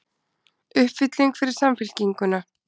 Uppfylling fyrir Samfylkinguna